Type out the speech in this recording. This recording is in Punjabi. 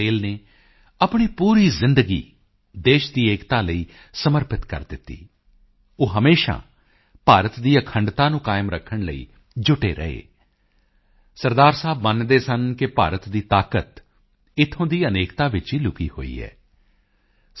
ਪਟੇਲ ਨੇ ਆਪਣੀ ਪੂਰੀ ਜ਼ਿੰਦਗੀ ਦੇਸ਼ ਦੀ ਏਕਤਾ ਲਈ ਸਮਰਪਿਤ ਕਰ ਦਿੱਤੀ ਉਹ ਹਮੇਸ਼ਾ ਭਾਰਤ ਦੀ ਅਖੰਡਤਾ ਨੂੰ ਕਾਇਮ ਰੱਖਣ ਲਈ ਜੁਟੇ ਰਹੇ ਸਰਦਾਰ ਸਾਹਿਬ ਮੰਨਦੇ ਸਨ ਕਿ ਭਾਰਤ ਦੀ ਤਾਕਤ ਇੱਥੋਂ ਦੀ ਅਨੇਕਤਾ ਵਿੱਚ ਹੀ ਲੁਕੀ ਹੋਈ ਹੈ ਸ